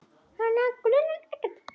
Hana grunar ekkert.